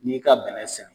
N'i ka bɛnɛ sɛnɛ